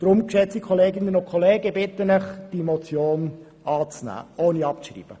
Deshalb bitte ich Sie, diese Motion anzunehmen, ohne sie abzuschreiben.